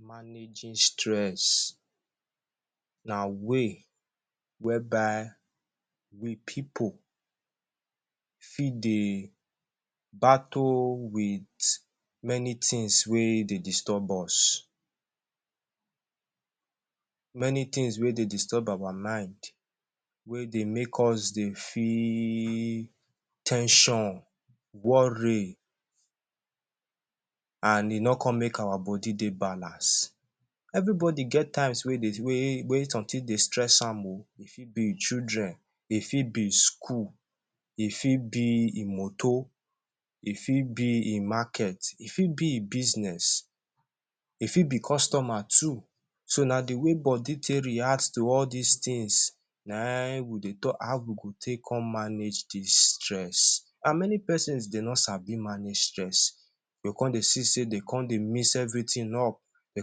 Managing stress na way whereby we pipu fit dey battle with many tins wey dey disturb us, many tins wey dey disturb our mind, wey dey make us dey feel ten sion, worry, an e no con make our body dey balance. Everybody get times wey dey wey wey something dey stress am oh. E fit be children, e fit be school, e fit be e motor, e fit be e market, e fit be e business, e fit be customer too. So na the way body take react to all dis tins, na ein wey dey talk. How we go take con manage dis stress? An many pesons de no sabi manage stress. You con dey see sey de con dey mix everything up, de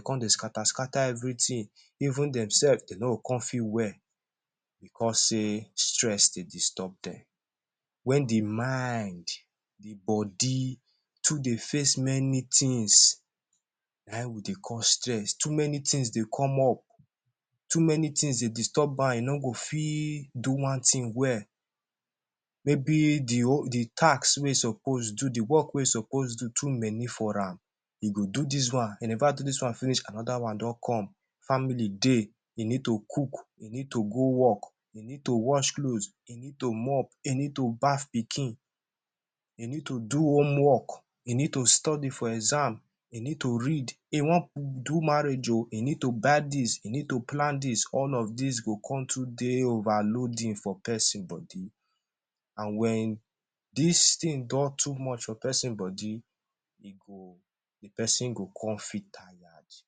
con dey scatter-scatter everything. Even demsef, de no go con feel well becos sey stress dey disturb dem. Wen the mind, the body, too dey face many tins, na ein we dey call stress. Too many tins dey come up, too many tins dey disturb am e no go fit do one tin well. Maybe the the tasks wey e suppose do, the work wey e suppose do too many for am, e go do dis one, e neva do dis one finish, another one don come. Family dey, e need to cook, e need to go work, e need to wash cloth, e need mop, e need to bath pikin, e need to do home work, e need to study for exam, e need to read, e wan do marriage oh, e need to buy dis, e need to plan dis, all of dis go con too dey overloading for peson body. An wen dis tin don too much for peson body, e go the peson go con feel tayad.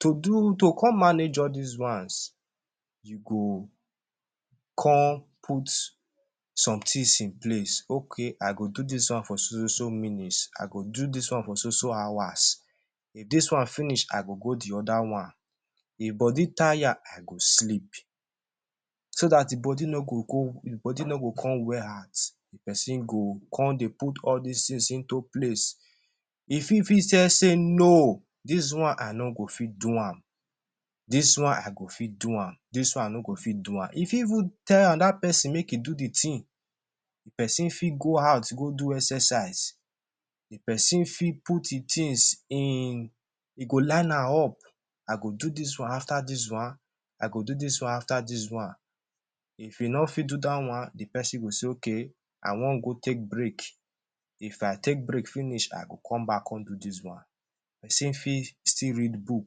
To do to con manage all dis ones, you go con put some tins in place. Okay, I go do dis one for so-so-so minutes, I go do dis one so-so-so hours. If dis one finish, I go go the other one. If body taya, I go sleep. So dat the body no go go the body no go con wear out, peson go con dey put all dis tins into place. E fit fit say no, dis one, I no go fit do am. Dis one, I go fit do am, dis one, I no go fit do am. E fit even tell another peson make e do the tin. The peson fit go out go do exercise. The peson fit put e tins in e go line am up—I go do dis one after dis one, I go do dis one after dis one. If e no fit do dat one, the peson go say okay, I wan go take break. If I take break finish, I go come back come do dis one. Peson fit still read book,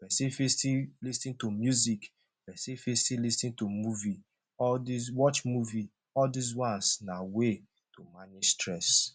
peson fit still lis ten to music, peson fit still lis ten to movie, all dis, watch movie. All dis ones na way to manage stress.